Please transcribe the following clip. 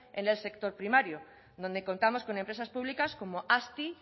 en el sector primario donde contamos con empresas públicas como azti